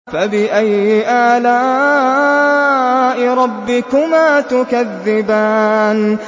فَبِأَيِّ آلَاءِ رَبِّكُمَا تُكَذِّبَانِ